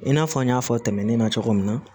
I n'a fɔ an y'a fɔ tɛmɛnen na cogo min na